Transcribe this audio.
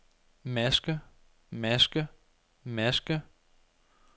maske maske maske